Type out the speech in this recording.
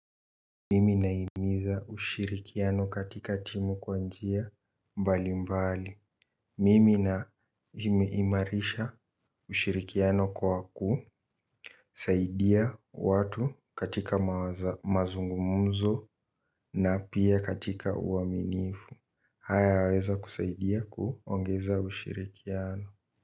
Mimi nahimiza ushirikiano katika timu kwa njia mbali mbali Mimi naimaimarisha ushirikiano kwa ku saidia watu katika mazungumzo na pia katika uaminifu. Haya yaweza kusaidia kuongeza ushirikiano.